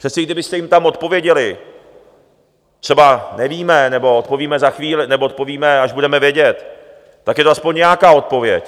Přece i kdybyste jim tam odpověděli třeba "nevíme, nebo odpovíme za chvíli, nebo odpovíme, až budeme vědět", tak je to aspoň nějaká odpověď.